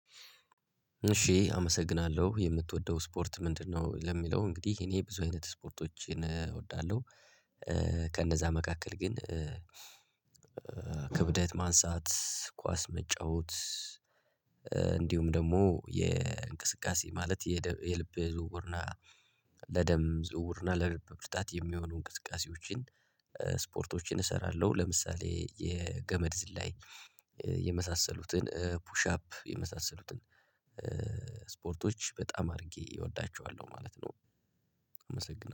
እሺ አመሰግናለሁ የምትወደው ስፖርት ምንድነው? ለሚለው እንግዲህ እኔ ብዙ አይነት ስፖርቶችን እወዳለሁ። ከእነዛ መካከል ግን ክብደት ማንሳት ኳስ መጫወት። እንዲሁም ደግሞ የእንቅስቃሴ ማለት የደ የልብ ዝውውርና ለደም ዝውውርና ለልብ ብርታት የሚሆኑ እንቅስቃሴዎችን ስፖርቶችን እሰራለሁ። ለምሳሌ የገመድ ዝላይ የመሳሰሉትን ፑሽ አፕ የመሳሰሉትን ስፖርቶች በጣም አድርጌ እወዳቸዋለሁ ማለት ነው። አመሰግናለሁ